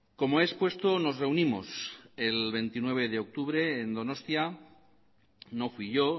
como he expuesto nos reunimos el veintiocho de octubre en donostia no fui yo